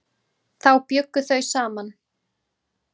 Þá bjuggu þau saman.